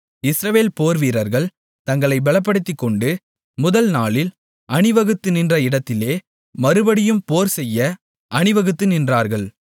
இஸ்ரவேல் போர்வீரர்கள் தங்களை பெலப்படுத்திக்கொண்டு முதல் நாளில் அணிவகுத்து நின்ற இடத்திலே மறுபடியும் போர் செய்ய அணிவகுத்து நின்றார்கள்